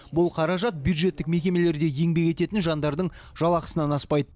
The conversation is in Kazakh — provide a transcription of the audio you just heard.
бұл қаражат бюджеттік мекемелерде еңбек ететін жандардың жалақысынан аспайды